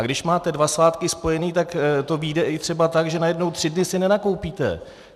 A když máte dva svátky spojené, tak to vyjde i třeba tak, že najednou tři dny si nenakoupíte.